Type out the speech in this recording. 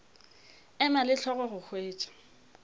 ema le hlogo go hwetša